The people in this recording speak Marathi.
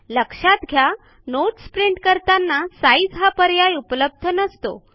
लक्षात घ्या नोट्स प्रिंट करताना साइझ हा पर्याय उपलब्ध नसतो